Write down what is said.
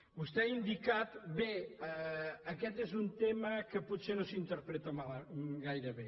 vostè ho ha indicat bé aquest és un tema que potser no s’interpreta gaire bé